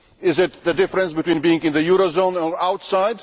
Is it the difference between being in the euro area and outside?